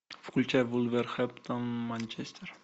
включай вулверхэмптон манчестер